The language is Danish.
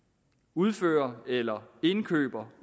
udfører eller indkøber